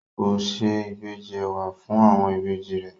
Kò se ìbejì ẹ̀wà fún àwọn ìbejì rẹ̀?